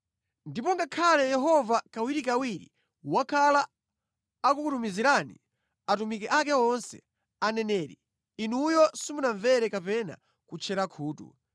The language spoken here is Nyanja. Ndipo ngakhale Yehova kawirikawiri wakhala akukutumizirani atumiki ake onse, aneneri, inuyo simunamvere kapena kutchera khutu.